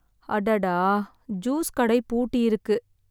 அடடா, ஜூஸ் கடை பூட்டியிருக்கு!